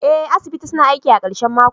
Ee, asibiti suna aiki a karshen mako.